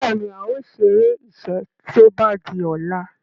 Béèni ào ṣeré iṣé tó bá dì ola.